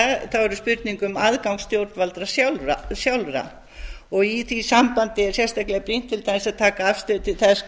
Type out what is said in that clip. þessu er spurning um aðgang stjórnvalda sjálfar í því sambandi er sérstaklega brýnt til dæmis að taka afstöðu til þess